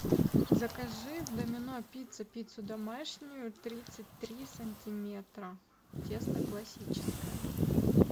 закажи в домино пицца пиццу домашнюю тридцать три сантиметра тесто классическое